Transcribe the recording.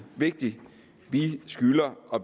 vigtigt vi skylder at